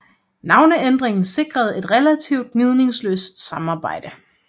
Navneændringen sikrede et relativt gnidningsløst samarbejde